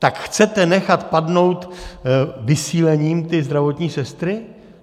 Tak chcete nechat padnout vysílením ty zdravotní sestry?